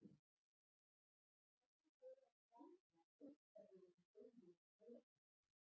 Hvernig það er að gráta af ótta við að hún deyi úr þreytu.